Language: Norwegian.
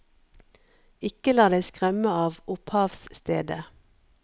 Ikke la deg skremme av opphavsstedet.